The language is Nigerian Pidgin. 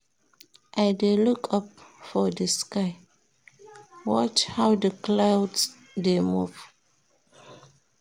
I dey look up for di sky, watch how di clouds dey move.